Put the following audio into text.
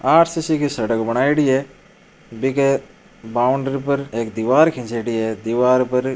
आरसीसी की सड़क बनायोडी है बींके बाउंडरी पर एक दिवार खिंचोड़ी है दिवार पर --